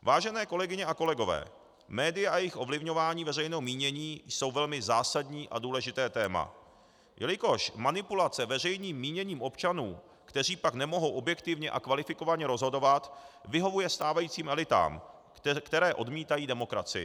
Vážené kolegyně a kolegové, média a jejich ovlivňování veřejného mínění jsou velmi zásadní a důležité téma, jelikož manipulace veřejným míněním občanů, kteří pak nemohou objektivně a kvalifikovaně rozhodovat, vyhovuje stávajícím elitám, které odmítají demokracii.